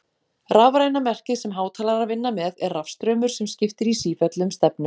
Rafræna merkið sem hátalarar vinna með er rafstraumur sem skiptir í sífellu um stefnu.